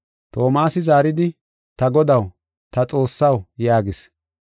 Toomasi zaaridi, “Ta Godaw, ta Xoossaw” yaagis.